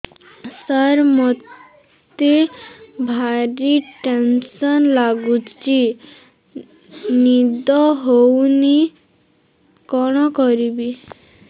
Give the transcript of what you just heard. ସାର ମତେ ଭାରି ଟେନ୍ସନ୍ ଲାଗୁଚି ନିଦ ହଉନି କଣ କରିବି